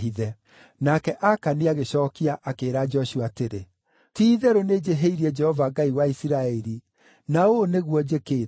Nake Akani agĩcookia akĩĩra Joshua atĩrĩ, “Ti-itherũ nĩnjĩhĩirie Jehova Ngai wa Isiraeli. Na ũũ nĩguo njĩkĩte: